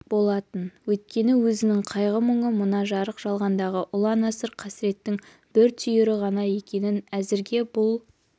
болатын өйткені өзінің қайғы-мұңы мына жарық жалғандағы ұлан-асыр қасірттің бір түйірі ғана екенін әзірге бұл